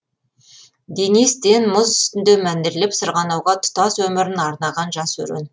денис тен мұз үстінде мәнерлеп сырғанауға тұтас өмірін арнаған жас өрен